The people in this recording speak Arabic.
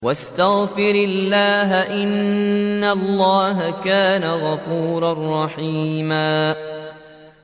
وَاسْتَغْفِرِ اللَّهَ ۖ إِنَّ اللَّهَ كَانَ غَفُورًا رَّحِيمًا